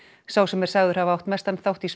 sá sem er sagður hafa átt mestan þátt í